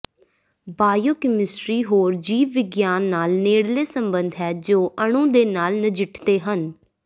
biochemistry ਹੋਰ ਜੀਵ ਵਿਗਿਆਨ ਨਾਲ ਨੇੜਲੇ ਸੰਬੰਧ ਹੈ ਜੋ ਅਣੂ ਦੇ ਨਾਲ ਨਜਿੱਠਦੇ ਹਨ